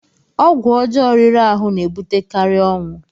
ọgwụ ọjọọ riri ahụ na-ebutekarị ọnwụ